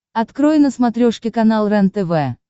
открой на смотрешке канал рентв